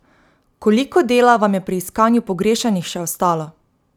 Koliko dela vam je pri iskanju pogrešanih še ostalo?